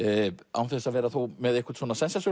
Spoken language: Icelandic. án þess að vera þó með einhvern